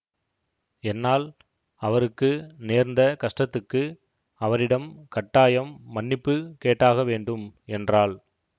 என்னால் அவருக்கு நேர்ந்த கஷ்டத்துக்கு அவரிடம் கட்டாயம் மன்னிப்பு கேட்டாக வேண்டும் என்றாள்